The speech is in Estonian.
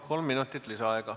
Kolm minutit lisaaega.